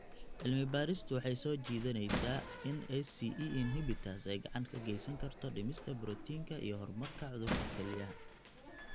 Cilmi-baaristu waxay soo jeedinaysaa in ACE inhibitors ay gacan ka geysan karto dhimista borotiinka iyo horumarka cudurka kelyaha.